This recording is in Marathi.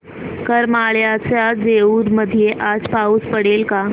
करमाळ्याच्या जेऊर मध्ये आज पाऊस पडेल का